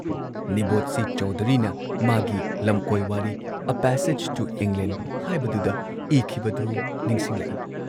Nirad C ꯆꯧꯙꯨꯔꯤꯅ ꯃꯥꯒꯤ ꯂꯝꯀꯣꯏ ꯋꯥꯔꯤ 'ꯑ ꯄꯦꯁꯦꯖ ꯇꯨ ꯏꯪꯂꯦꯟꯗ' ꯍꯥꯏꯕꯗꯨꯗ ꯏꯈꯤꯕꯗꯨ ꯅꯤꯡꯁꯤꯡꯂꯛꯏ